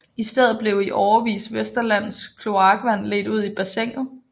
I stedet blev i årevis Vesterlands kloakvand ledt ud i bassinet